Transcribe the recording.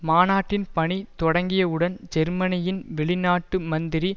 மாநாட்டின் பணி தொடங்கியவுடன் ஜெர்மனியின் வெளிநாட்டு மந்திரி